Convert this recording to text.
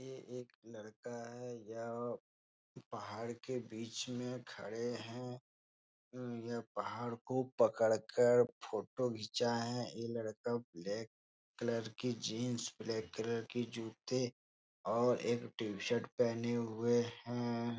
यह एक लड़का है जो पहाड़ के बीच में खड़े हैं। हम्म यह पहाड़ को पकड़ कर फोटो घीचाये हैं। ये लड़का ब्लैक कलर की जीन्स ब्लैक कलर के जूते और एक टी-शर्ट पहने हुए हैं।